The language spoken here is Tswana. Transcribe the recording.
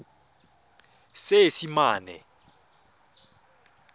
seesimane